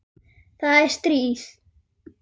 Það er stríð!